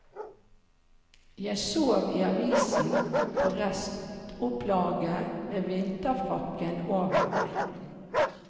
Jeg sov i avisen, på restopplaget, med vinterfrakken over meg.